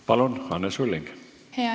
Palun, Anne Sulling!